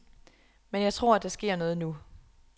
Men jeg tror, at der sker noget nu.